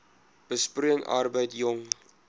besproeiing arbeid jong